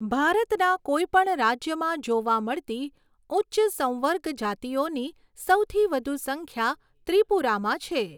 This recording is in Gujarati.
ભારતના કોઈ પણ રાજ્યમાં જોવા મળતી ઉચ્ચ સંવર્ગ જાતિઓની સૌથી વધુ સંખ્યા ત્રિપુરામાં છે.